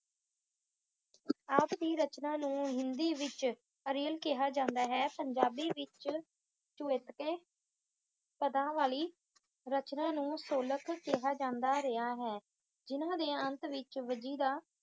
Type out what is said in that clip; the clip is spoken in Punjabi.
ਆਪ ਦੀ ਰਚਨਾ ਨੂੰ ਹਿੰਦੀ ਵਿੱਚ ਅੜਿੱਲ ਕਿਹਾ ਜਾਂਦਾ ਹੈ। ਪੰਜਾਬੀ ਵਿੱਚ ਚਉਤੁਕੇ ਪਦਾਂ ਵਾਲੀ ਰਚਨਾ ਨੂੰ ਸੋਲਕ ਕਿਹਾ ਜਾਂਦਾ ਰਿਹਾ ਹੈ। ਜਿਹਨਾਂ ਦੇ ਅੰਤ ਵਿੱਚ ਵਜੀਦਾ